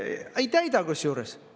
" Ei täida kusjuures.